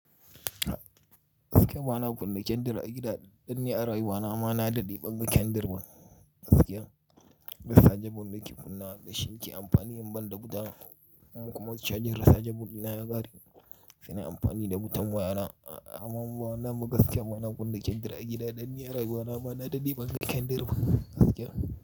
Gaskiya ba na kunna kyandir a gida, danniya raye bana. Ma na daɗe ɓan ga kyandir ban gaskiya. Rasajen banɗaki funa da shi ke amfani yin banɗa wuta. In kuma cajin rachargeble na ya kare, sai yi amfani da wutan waya na. Ama in ba wanan ba gaskiya ba na kunna kyandir a gida, don ni a rayuwana ni na dade ɓan ga kyandir ban gaskiya.